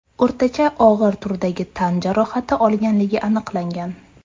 o‘rtacha og‘ir turdagi tan jarohati olganligi aniqlangan.